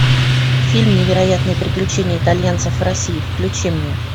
фильм невероятные приключения итальянцев в россии включи мне